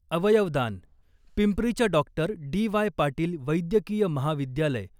अवयवदान, पिंपरीच्या doctor D Y Patil वैद्यकीय महाविद्यालय